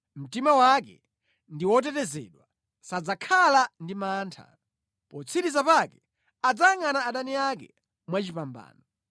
Mtima wake ndi wotetezedwa, sadzakhala ndi mantha; potsiriza pake adzayangʼana adani ake mwachipambano.